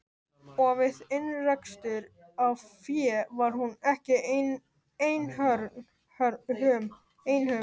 Og við innrekstur á fé var hún ekki einhöm.